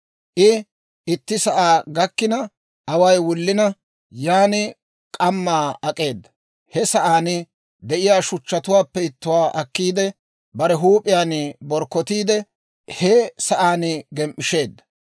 I itti sa'aa gakkina away wullina, yan k'ammaa ak'eeda. He sa'aan de'iyaa shuchchatuwaappe ittuwaa akkiidde, bare huup'iyaan borkkotiide he sa'aan gem"isheedda.